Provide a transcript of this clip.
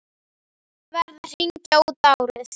Verið að hringja út árið.